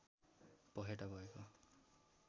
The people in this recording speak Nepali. पखेटा भएको